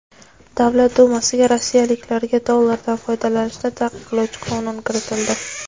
Davlat dumasiga rossiyaliklarga dollardan foydalanishni taqiqlovchi qonun kiritildi.